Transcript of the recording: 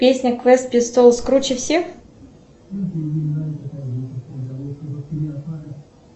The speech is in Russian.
песня квест пистолс круче всех